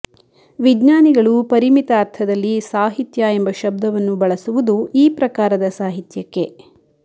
ವಿಜ್ಞಾನಿಗಳು ಪರಿಮಿತ ಅರ್ಥದಲ್ಲಿ ಸಾಹಿತ್ಯ ಎಂಬ ಶಬ್ದವನ್ನು ಬಳಸುವುದು ಈ ಪ್ರಕಾರದ ಸಾಹಿತ್ಯಕ್ಕೆ